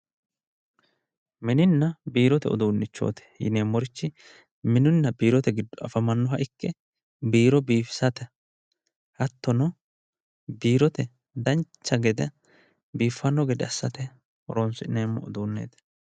Mininna biirote uduunichoti yinneemmorichi mininna biirote giddo afamanoha ikke, biiro biifisate hattonno biirote dancha gede biifano gede assine horonsi'neemmo uduuneti.